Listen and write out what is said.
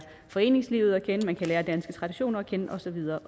foreningslivet at kende og lære danske traditioner at kende og så videre